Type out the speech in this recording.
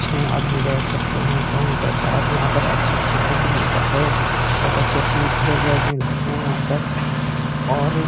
छः आदमी बैठ सकते हैं कहीं पर साथ यहाँ पर अच्छा-अच्छा फ़ूड मिलता है। बहोत अच्छी-अच्छी डिजर्ट मिलती हैं यहाँ पर और --